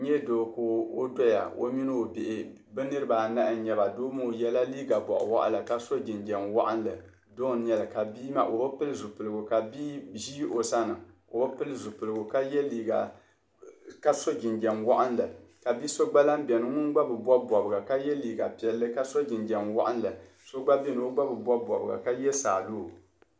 N nyɛ doo ka ɔ doya ɔmini ɔbihi. bɛ niribi anahi n nyɛba, bɛ yela liiga bɔɣiwaɣila, ka so jinjam waɣinli, doŋ n nyɛli ka bii maa, ɔ bi pili zi piligu ka so jinjam, waɣinli, kabi so gba lan beni ŋun gba bi bɔbi bɔbga, ka liiga piɛli ka so jinjam waɣinli, so gba beni ɔ gba bi bɔbi bɔbga ka ye saa lala.